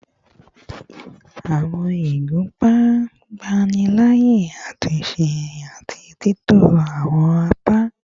Awọn igunpa ngbanilaaye atunse ati titọ awọn apa